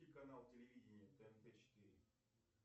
канал телевидения тнт четыре